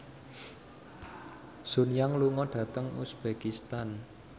Sun Yang lunga dhateng uzbekistan